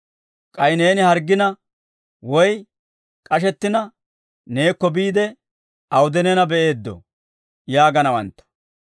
K'ay neeni harggina, woy k'ashettina neekko biide awude neena be'eeddoo?› yaaganawantta.